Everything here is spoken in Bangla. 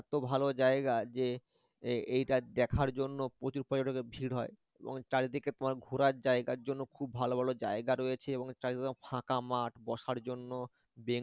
এত ভালো জায়গা যে এ~ এটা দেখার জন্য প্রচুর পর্যটকের ভীড় হয় এবং চারিদিকে তোমার ঘোরার জায়গার জন্য খুব ভালো ভালো জায়গা রয়েছে এবং চারিদিকে ফাঁকা মাঠ বসার জন্য